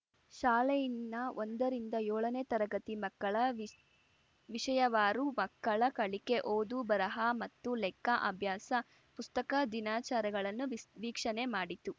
ಶಾಲೆಯಿನ್ನ ಒಂದರಿಂದ ಯೋಳನೇ ತರಗತಿ ಮಕ್ಕಳ ವಿಶ್ ವಿಷಯಾವಾರು ಮಕ್ಕಳ ಕಲಿಕೆ ಓದು ಬರಹ ಮತ್ತು ಲೆಕ್ಕ ಅಭ್ಯಾಸ ಪುಸ್ತಕ ದಿನಚಾರಗಳನ್ನು ವಿಸ್ ವೀಕ್ಷಣೆ ಮಾಡಿತು